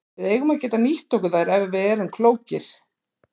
Við eigum að geta nýtt okkur þær ef við erum klókir.